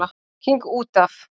King út af.